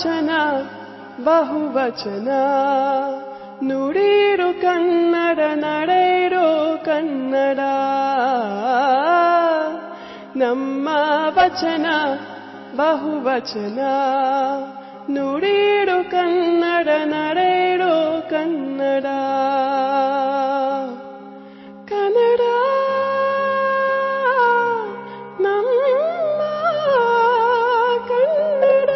audio bite ୨